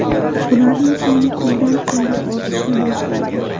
Ularning soni kundan kunga ortishni boshlaydi.